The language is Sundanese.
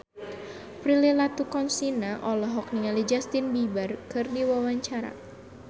Prilly Latuconsina olohok ningali Justin Beiber keur diwawancara